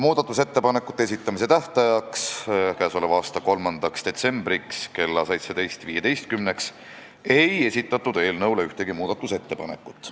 Muudatusettepanekute esitamise tähtajaks, 3. detsembriks kella 17.15-ks ei esitatud ühtegi ettepanekut.